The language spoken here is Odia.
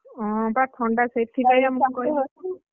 ହଁ ବା ଥଣ୍ଡା ସେଥିପାଇଁ ବା